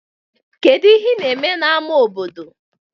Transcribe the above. kedu ihe na-eme na square obodo?